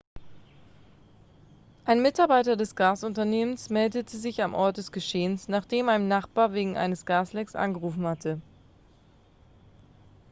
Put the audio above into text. ein mitarbeiter des gasunternehmns meldete sich am ort des geschehens nachdem ein nachbar wegen eines gaslecks angerufen hatte.x